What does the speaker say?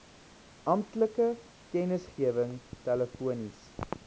amptelike kennisgewing telefonies